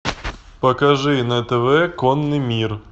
покажи на тв конный мир